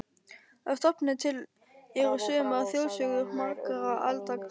Að stofni til eru sumar þjóðsögur margra alda gamlar.